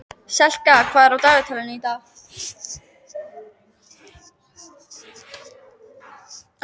Selka, hvað er á dagatalinu í dag?